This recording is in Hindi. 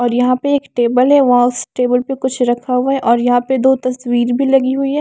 और यहाँ पे एक टेबल है वहाँ उस टेबल पर कुछ रखा हुआ है और यहाँ पर दो तस्वीर भी लगी हुई है।